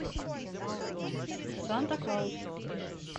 санта клаус